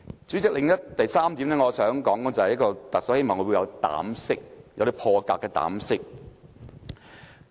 主席，第三點我想說的是，希望特首會有膽識，有破格的膽識。